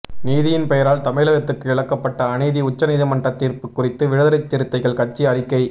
நீதியின் பெயரால் தமிழகத்துக்கு இழைக்கப்பட்ட அநீதி உச்சநீதிமன்றத் தீர்ப்பு குறித்து விடுதலைச் சிறுத்தைகள் கட்சி அறிக்கை